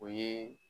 O ye